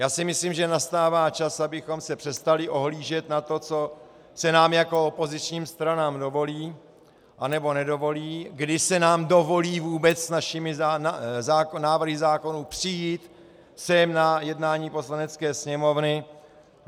Já si myslím, že nastává čas, abychom se přestali ohlížet na to, co se nám jako opozičním stranám dovolí anebo nedovolí, kdy se nám dovolí vůbec s našimi návrhy zákonů přijít sem na jednání Poslanecké sněmovny.